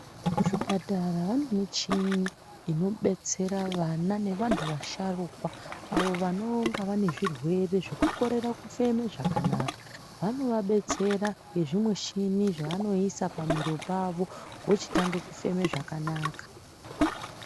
Muzvipatara vane michini inobetsera vana nevanhu vasharukwa avo vanonga vane zvirwere zvekukorera kufema zvakanaka. Vanovabetsera ngezvishini zvavanoisa pamiro yavo vochitanga kufema zvakanaka.